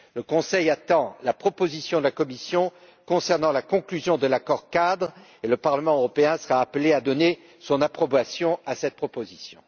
Le Conseil attend la proposition de la Commission concernant la conclusion de l'accord cadre et le Parlement européen sera appelé à donner son approbation à cette proposition.